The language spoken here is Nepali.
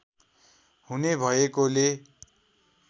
हुने भएकोले